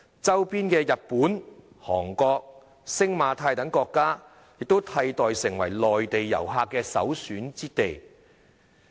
周邊的日本、韓國、星馬泰等國家替代香港成為內地遊客的首選之地。